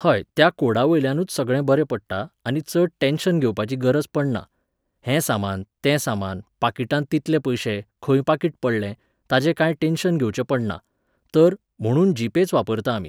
हय तें कोडावयल्यानूच सगळें बरें पडटा आनी चड टॅन्शन घेवपाची गरज पडना. हें सामान, तें सामान, पाकीटांत तितले पयशे, खंय पाकीट पडलें, ताजें कांय टॅन्शन घेवचें पडना. तर, म्हणून जीपेच वापरता आमी.